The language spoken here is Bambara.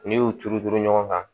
N'i y'u turu turu ɲɔgɔn kan